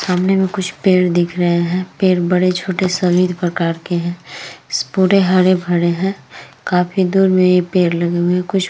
सामने में कुछ पेड़ दिख रहे हैं। पेड़ बड़े-छोटे सभी प्रकार के हैं। इस पूरे हरे-भरे हैं। काफी दूर में ये पेड़ लगे हुए हैं। कुछ --